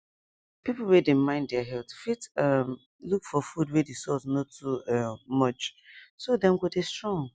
people wey dey mind their health fit um look for food wey the salt no too um much so dem go dey strong